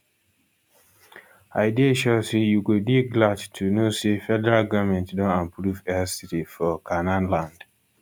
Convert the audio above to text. i dey sure say you go dey glad to know say federal goment don approve airstrip for canaanland